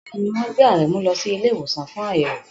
Bẹ́ẹ̀ni, wọ́n gbé Aremu lọ sí ilé ìwòsàn fún àyẹ̀wò.